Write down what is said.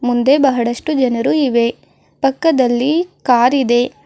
ಒಂದೆ ಬಹಳಷ್ಟು ಜನರು ಇವೆ ಪಕ್ಕದಲ್ಲಿ ಕಾರ್ ಇದೆ.